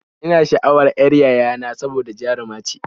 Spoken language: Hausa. Ina sha'awan y'ar yayana saboda jaruma ce